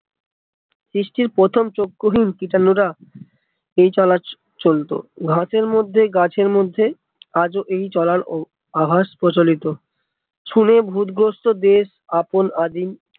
সৃষ্টির প্রথম চক্ষুহীন কীটাণু রা এই চলা চলতো ঘাসের মধ্যে গাছের মধ্যে আজ ও এই চলার আভাস প্রচলিত শুনে ভুত গ্রস্ত দেশ আপন আদিম